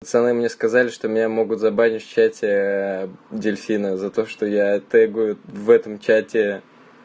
пацаны мне сказали что меня могут забанить в чате дельфины за то что я тэгаю в этом чате